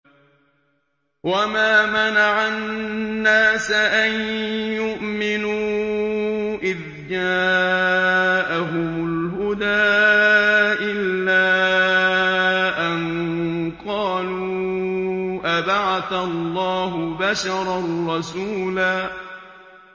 وَمَا مَنَعَ النَّاسَ أَن يُؤْمِنُوا إِذْ جَاءَهُمُ الْهُدَىٰ إِلَّا أَن قَالُوا أَبَعَثَ اللَّهُ بَشَرًا رَّسُولًا